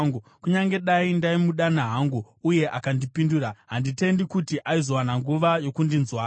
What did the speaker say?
Kunyange dai ndaimudana hangu uye akandipindura, handitendi kuti aizowana nguva yokundinzwa.